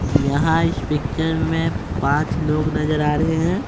यहाँ इस पिक्चर में पांच लोग नजर आ रहे हैं।